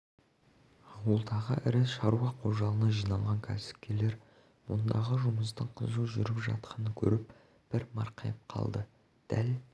ауылдағы ірі шаруа қожалығына жиналған кәсіпкерлер мұндағы жұмыстың қызу жүріп жатқанын көріп бір марқайып қалды дәл